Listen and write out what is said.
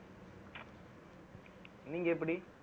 நீங்க எப்படி